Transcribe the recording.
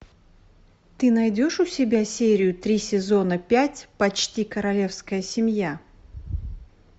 ты найдешь у себя серию три сезона пять почти королевская семья